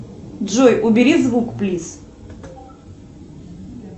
джой убери звук плиз